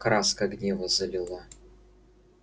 краска гнева залила